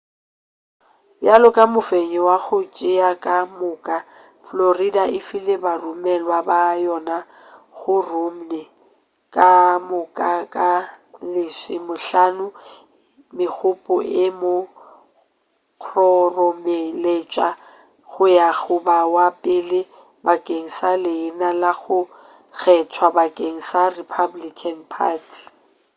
bjalo ka mofenyi wa go tšea ka moka florida e file baromelwa ba yona go romney ka moka ba lesomehlano megopo e mo kgoromeletša go ya go ba wa pele bakeng sa leina la go kgethwa bakeng sa republican party